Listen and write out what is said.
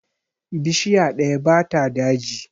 Bishiya ɗaya ba ta daji.